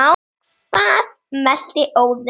Hvað mælti Óðinn